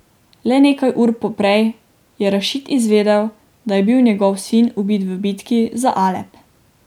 Le nekaj ur poprej je Rašid izvedel, da je bil njegov sin ubit v bitki za Alep.